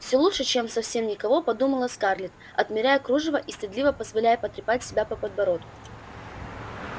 всё лучше чем совсем никого подумала скарлетт отмеряя кружево и стыдливо позволяя потрепать себя по подбородку